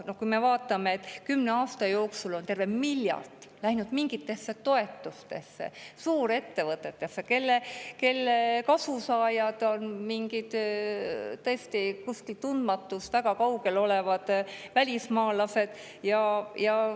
Noh, vaatame seda, et kümne aasta jooksul on terve miljard läinud mingitesse toetustesse, suurettevõtetesse, kelle kasusaajad on tõesti kuskil tundmatuses, väga kaugel olevad välismaalased.